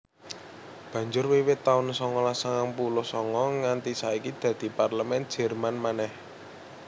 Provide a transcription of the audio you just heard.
Banjur wiwit taun songolas sangang puluh sanga nganti saiki dadi Parlemèn Jèrman manèh